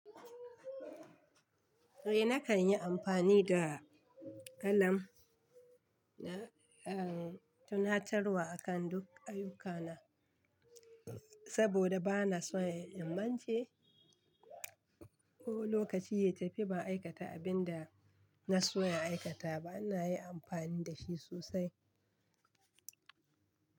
Eh nakan yi amfani da alarm na tunatarwa akan duk ayuka na saboda bana son in mance ko lokaci ya tafi ban aikata abin da na so in aikata ba. Ina yi amfani da shi sosai.